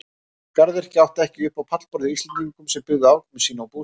Garðyrkja átti ekki upp á pallborðið hjá Íslendingum sem byggðu afkomu sína á bústofni.